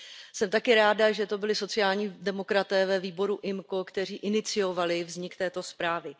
Jsem také ráda, že to byli sociální demokraté ve výboru IMCO, kteří iniciovali vznik této zprávy.